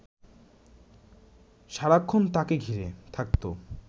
সারাক্ষণ তাঁকে ঘিরে থাকত